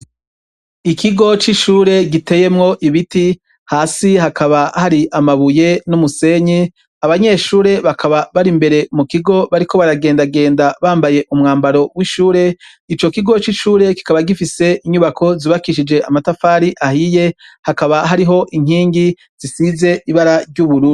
Ikigo c'ishure giteyemwo ibiti, hasi hakaba hari amabuye n'umusenyi, abanyeshure bakaba bari imbere mukigo bariko baragenda genda bambaye umwambaro w'ishure, ico kigo c'ishure kikaba gifise inyubako zubakishije amatafari ahiye, hakaba hariho inkingi zisize ibara ry'ubururu.